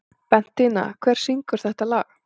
Bentína, hver syngur þetta lag?